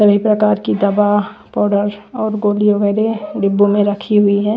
सभी प्रकार की दवा पाउडर और गोलियों वाले डिब्बों में रखी हुई है।